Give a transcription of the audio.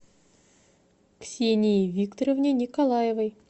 ксении викторовне николаевой